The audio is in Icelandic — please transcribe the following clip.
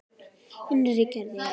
Innri gerð jarðar